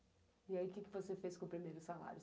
E aí, o que você fez com o primeiro salário?